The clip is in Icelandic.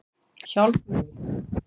Hjálmfríður